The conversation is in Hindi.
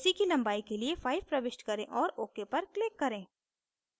ac की लंबाई के लिए 5 प्रविष्ट करें और ok पर click करें